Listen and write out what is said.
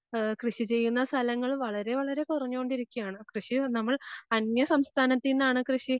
ആഹ് കൃഷി ചെയ്യുന്ന സ്ഥലങ്ങള് വളരെ വളരെ കുറഞ്ഞൊണ്ടിരിക്കയാണ്. കൃഷി നമ്മൾ അന്യ സംസ്ഥാനത്തീന്നാണ് കൃഷി